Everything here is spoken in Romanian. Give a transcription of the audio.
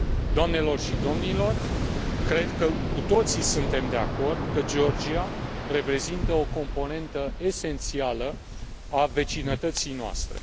Doamnelor și domnilor, cred că suntem de acord cu toții că Georgia reprezintă o componentă esențială a vecinătății noastre.